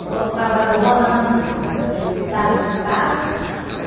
E bota o cavador rodando assim, aquele tarugo de pau.